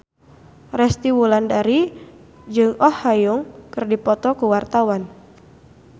Resty Wulandari jeung Oh Ha Young keur dipoto ku wartawan